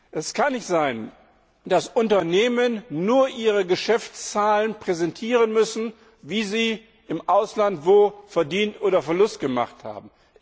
Es kann nicht sein, dass Unternehmen nur ihre Geschäftszahlen präsentieren müssen, wie sie im Ausland wo Gewinn oder Verlust gemacht haben.